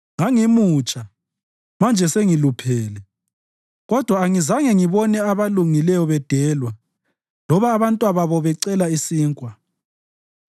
Ngangimutsha, manje sengiluphele, kodwa angizange ngibone abalungileyo bedelwa loba abantwababo becela isinkwa.